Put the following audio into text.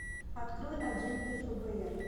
открой агенты фбр